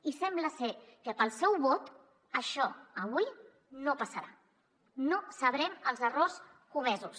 i sembla ser que pel seu vot això avui no passarà no sabrem els errors comesos